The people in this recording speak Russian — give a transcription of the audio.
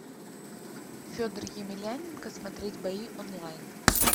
федор емельяненко смотреть бои онлайн